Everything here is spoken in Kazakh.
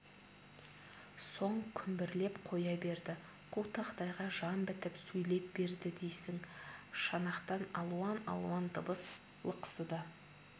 соң күмбірлеп қоя берді қу тақтайға жан бітіп сөйлеп берді дейсің шанақтан алуан-алуан дыбыс лықсыды